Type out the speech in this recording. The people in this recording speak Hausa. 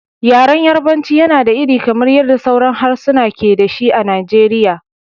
Yaren Yarbanci yana da iri, kamar yadda sauran harsuna ke da shi a Najeriya.